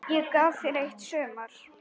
Ég gaf þér eitt sumar.